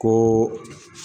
Ko